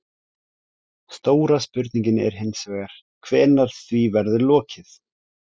Stóra spurningin er hins vegar hvenær því verður lokið?